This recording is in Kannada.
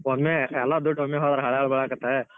ಒಮ್ಮೆ ಎಲ್ಲಾ ದುಡ್ಡ್ ಒಮ್ಮೆ ಹೋದ್ರ್ ಹಳಾ ಬಾಳ ಅಕ್ಕೆತಾ.